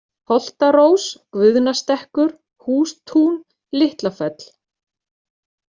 Holtarós, Guðnastekkur, Hústún, Litlafell